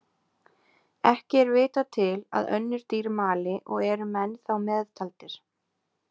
Ekki er vitað til að önnur dýr mali og eru menn þá meðtaldir.